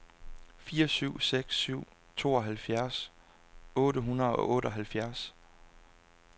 fire syv seks syv tooghalvfjerds otte hundrede og otteoghalvfjerds